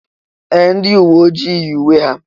Ee! Ndị uwe ojii yi uwe ha.